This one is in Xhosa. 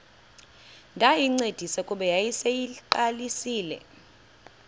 ndayincedisa kuba yayiseyiqalisile